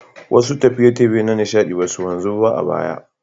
Wasu tafiye-tafiye na nishaɗi ba su wanzu ba a baya.